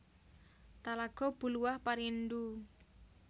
Talago Buluah Parindu